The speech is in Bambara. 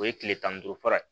O ye tile tan ni duuru fara